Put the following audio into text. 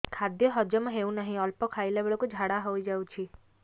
ଖାଦ୍ୟ ହଜମ ହେଉ ନାହିଁ ଅଳ୍ପ ଖାଇଲା ବେଳକୁ ଝାଡ଼ା ହୋଇଯାଉଛି